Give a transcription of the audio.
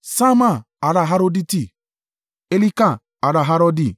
Ṣamma ará Haroditi, Elika ará Harodi.